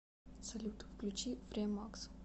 салют включи фреемакс